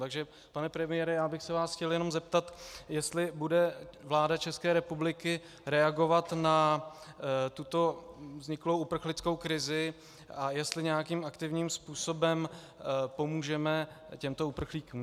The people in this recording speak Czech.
Takže pane premiére, já bych se vás chtěl jenom zeptat, jestli bude vláda České republiky reagovat na tuto vzniklou uprchlickou krizi a jestli nějakým aktivním způsobem pomůžeme těmto uprchlíkům.